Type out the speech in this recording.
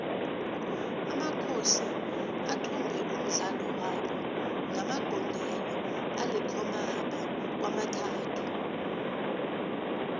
amakhosi athumbe umdlalo wabo ngamagondelo alikhomaba kwamathathu